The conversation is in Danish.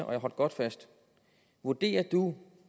og hold godt fast vurderer du